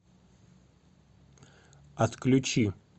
отключи